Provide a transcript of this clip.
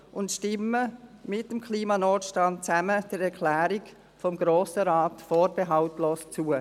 Stimmen wir zusammen mit dem Klimanotstand der Erklärung des Grossen Rates vorbehaltlos zu.